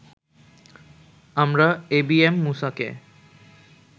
আমরা এবিএম মূসাকে